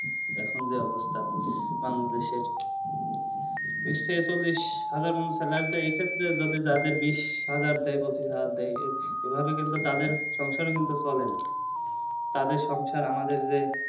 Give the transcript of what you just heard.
এখন যে অবস্থা বাংলাদেশের বিষ থেকে চল্লিশ হাজার মানুষদের life টা যদি এ ক্ষেত্রে তাদের বিষ হাজার দেয় পচিশ হাজার দেয় এভাবে তাদের কিন্তু সংসার ও চলে না তাদের সংসার আমাদের যে